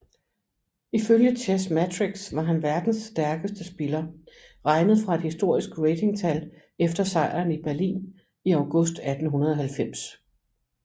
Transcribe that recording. Ifølge Chessmetrics var han verdens stærkeste spiller regnet fra et historisk ratingtal efter sejren i Berlin i august 1890